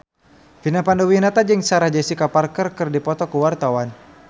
Vina Panduwinata jeung Sarah Jessica Parker keur dipoto ku wartawan